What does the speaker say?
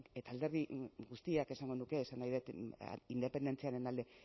eta alderdi guztiak esango nuke esan nahi dut independentziaren alde